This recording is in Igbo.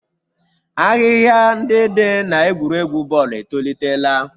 Ahịhịa ndị dị n'egwuregwu bọọlụ etolitela.